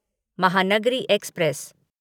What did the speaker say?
Mahanagari express